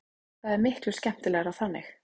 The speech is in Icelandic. Það er miklu skemmtilegra þannig.